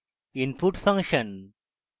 input function